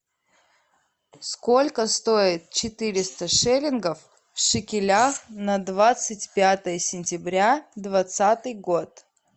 сколько стоит четыреста шиллингов в шекелях на двадцать пятое сентября двадцатый год